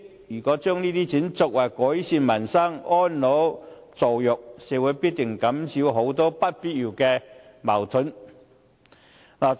如果把這筆錢用作改善民生和安老助弱，必定可以減少社會很多不必要的矛盾。